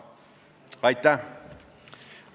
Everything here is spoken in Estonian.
Aitäh!